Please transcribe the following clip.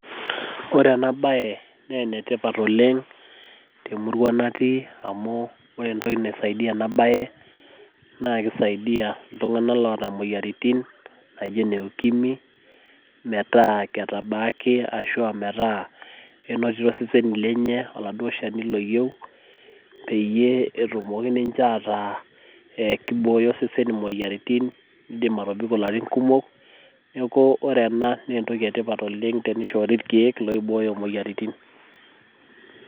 ore ena bae naa enetipat oleng' temurua natii amu ore kulokeek naa ene moyian e ikwimi naa keeret iltung'anak oleng' oota, inamoyian.